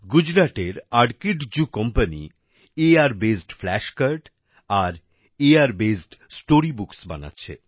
গুজরাটের আর্কিডজু company AR based flash card আর এআর বেসড্ স্টোরি বুকস বানাচ্ছে